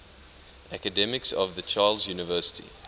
academics of the charles university